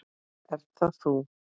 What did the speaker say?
Ert það þú?